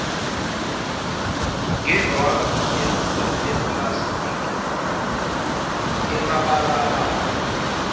ngendwangu yepulasitiki emabalabala